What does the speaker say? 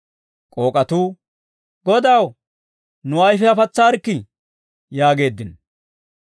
K'ook'atuu, «Godaw, nu ayfiyaa patsaarikkii» yaageeddino.